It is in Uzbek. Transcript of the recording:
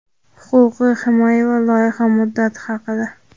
huquqiy himoya va loyiha muddati haqida.